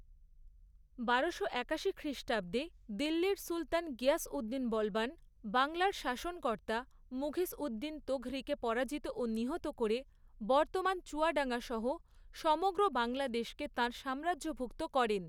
বারোশো একাশি খ্রিষ্টাব্দে দিল্লীর সুলতান গিয়াস উদ্দিন বলবান বাঙলার শাসনকর্তা মুঘীসউদ্দিন তোঘরীকে পরাজিত ও নিহত করে বর্তমান চুয়াডাঙ্গাসহ সমগ্র বাংলাদেশকে তাঁর সাম্রাজ্যভুক্ত করেন।